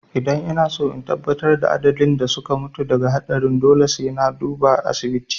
Idan inaso in tabbatar da adadin waɗanda suka mutu daga haɗarin to dole sai na duba asibiti